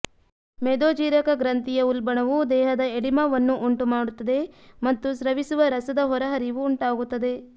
ಮೇದೋಜೀರಕ ಗ್ರಂಥಿಯ ಉಲ್ಬಣವು ದೇಹದ ಎಡಿಮಾವನ್ನು ಉಂಟುಮಾಡುತ್ತದೆ ಮತ್ತು ಸ್ರವಿಸುವ ರಸದ ಹೊರಹರಿವು ಉಂಟಾಗುತ್ತದೆ